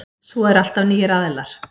Svo er alltaf nýir aðilar.